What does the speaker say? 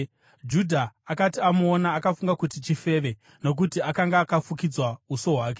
Judha akati amuona, akafunga kuti chifeve, nokuti akanga akafukidza uso hwake.